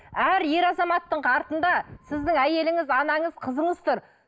әр ер азаматтың артында сіздің әйеліңіз анаңыз қызыңыз тұр